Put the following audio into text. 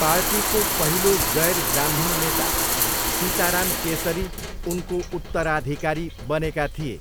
पार्टीको पहिलो गैर ब्राह्मण नेता सीताराम केसरी उनको उत्तराधिकारी बनेका थिए।